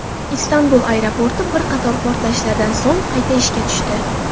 Istanbul aeroporti bir qator portlashlardan so‘ng qayta ishga tushdi.